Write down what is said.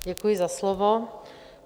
Děkuji za slovo.